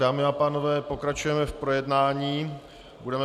Dámy a pánové, pokračujeme v projednání bodu